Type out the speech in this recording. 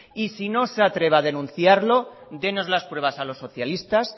y si no se atreve a denunciarlo dénos las pruebas a los socialistas